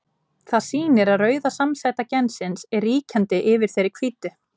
Það sýnir að rauða samsæta gensins er ríkjandi yfir þeirri hvítu.